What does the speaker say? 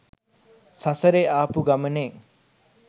සසරෙ ආපු ගමනේ